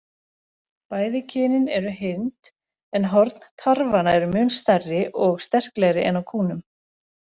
Bæði kynin eru hyrnd, en horn tarfanna eru mun stærri og sterklegri en á kúnum.